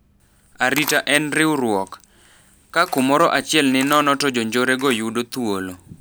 Arita en riwruok. Ka kumoro achiel ni nono to jonjore go yudo thuolo.